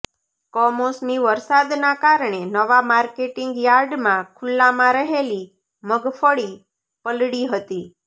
કમોસમી વરસાદના કારણે નવા માર્કેટિંગ યાર્ડમાં ખુલ્લામાં રહેલી મગફળી પલળી હતી